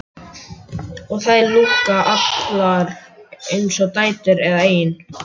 Og þær lúkka allar eins og dætur eða eigin